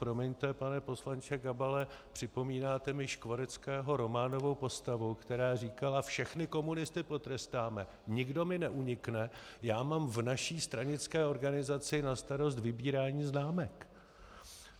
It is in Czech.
Promiňte, pane poslanče Gabale, připomínáte mi Škvoreckého románovou postavu, která říkala: Všechny komunisty potrestám, nikdo mi neunikne, já mám v naší stranické organizaci na starost vybírání známek.